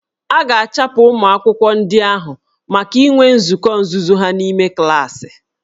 A ga-achụpụ ụmụ akwụkwọ ndị ahụ maka inwe nzukọ nzuzo ha n'ime klaasị